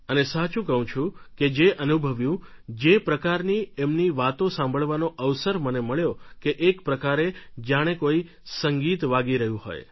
અને સાચું કહું છું જે અનુભવ્યું જે પ્રકારની એમની વાતો સાંભળવાનો અવસર મને મળ્યો કે એક પ્રકારે જાણે કોઈ સંગીત વાગી રહ્યું હોય